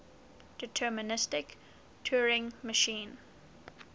deterministic turing machine